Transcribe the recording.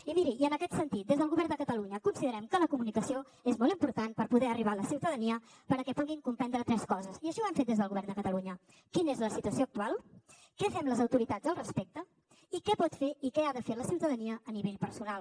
i miri i en aquest sentit des del govern de catalunya considerem que la comunicació és molt important per poder arribar a la ciutadania perquè puguin comprendre tres coses i així ho hem fet des del govern de catalunya quina és la situació actual què fem les autoritats al respecte i què pot fer i què ha de fer la ciutadania a nivell personal